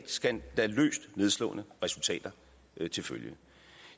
skandaløst nedslående resultater til følge